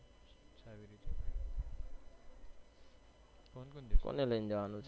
કોને લઈને જવાનું છે